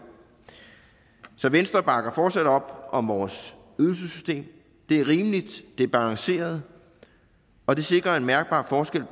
så venstre bakker fortsat op om vores ydelsessystem det er rimeligt det er balanceret og det sikrer er en mærkbar forskel